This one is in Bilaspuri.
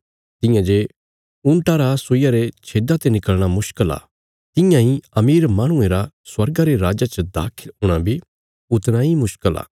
तियां जे ऊँटा रा सुईया रे छेद्दा ते निकल़णा मुश्कल आ तियां इ अमीर माहणुये रा स्वर्गा रे राज्जा च दाखल हूणा बी उतणा इ मुश्कल आ